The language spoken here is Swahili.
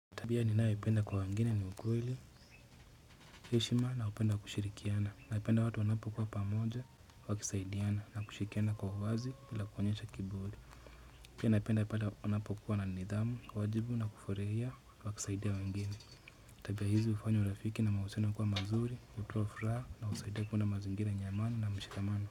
Tabia ninayependa kwa wengine ni ukweli, heshima na upendo wa kushirikiana, napenda watu wanapokua pamoja, wakisaidiana na kushirikiana kwa uwazi bila kuonyesha kiburi. Pia naipenda pale wanapokua na nidhamu, wajibu na kufuraia kwa kusaidia wengine. Tabia hizi hufanya urafiki na mahusiano kuwa mazuri, hutoa furaha na husaidia kuwa na mazingira yenye amani na mshikamano.